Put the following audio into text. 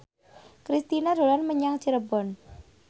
Kristina dolan menyang Cirebon